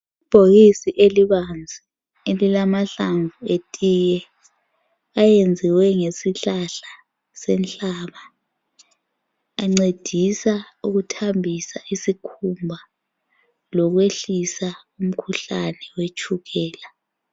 Ibhokisi elibanzi elilamahlamvu etiye. Ayenziwe ngesihlahla senhlaba ,ancedisa ukuthambisa isikhumba lokwehlisa umkhuhlane wetshukela.